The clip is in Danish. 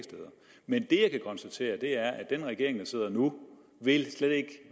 men det jeg kan konstatere er at den regering der sidder nu slet ikke